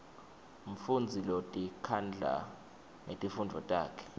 mfundzi lotikhandla ngetifundvo takhe